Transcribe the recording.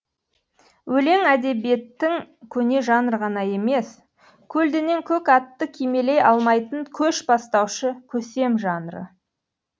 өлең әдебиеттің көне жанры ғана емес көлденең көк атты кимелей алмайтын көш бастаушы көсем жанры